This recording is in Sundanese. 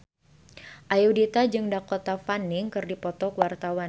Ayudhita jeung Dakota Fanning keur dipoto ku wartawan